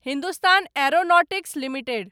Hindustan Aeronautics limited